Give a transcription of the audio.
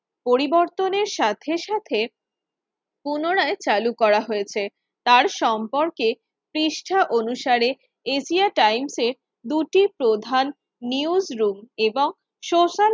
পরিবর্তনের সাথে সাথে পুনরায় চালু করা হয়েছে তার সম্পর্কে পৃষ্ঠা অনুসারে এশিয়া টাইমসের দুটি প্রধান নিউজ রুম এবং সোশ্যাল